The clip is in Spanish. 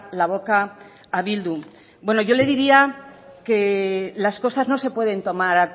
la boca a bildu bueno yo le diría que las cosas no se pueden tomar